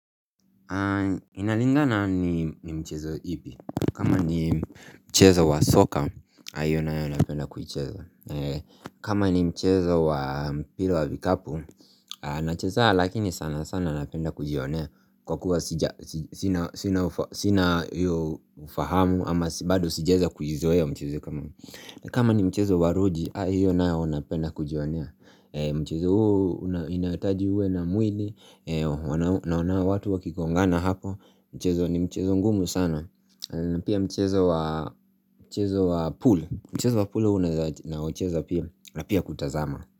Inalingana ni mchezo ipi kama ni mchezo wa soka hio nayo napenda kuicheza kama ni mchezo wa mpila wa vikapu Anachezanga lakini sana sana napenda kujionea Kwa kuwa sina ufahamu ama bado sijaeza kujizoea mchezo kama kama ni mchezo wa ruji hiyo nayo napenda kujionea Mchezo uu inataji uwe na mwili Naona watu wa kikongana hapo Mchezo ni mchezo ngumu sana na pia mchezo wa Mchezo wa pool Mchezo wa pool una na mchezo apia Apia kutazama.